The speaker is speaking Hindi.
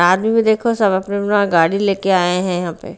में देखो सब अपना अपना गाड़ी ले के आए हैं यहाँ पे।